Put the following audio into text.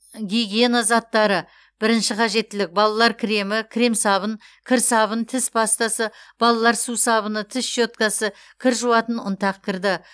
гигиена заттары бірінші қажеттілік балалар кремі крем сабын кір сабын тіс пастасы балалар сусабыны тіс щеткасы кір жуатын ұнтақ кірді